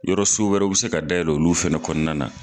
Yɔrɔ so wɛrɛw be se ka dayɛlɛ olu fɛnɛ kɔnɔna na